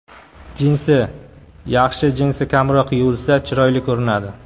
Jinsi Yaxshi jinsi kamroq yuvilsa, chiroyli ko‘rinadi.